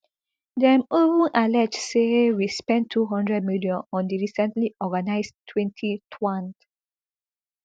dem even allege say we spend two hundred million on di recently organised twenty-twond